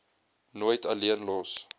nooit alleen los